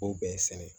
K'o bɛɛ sɛnɛ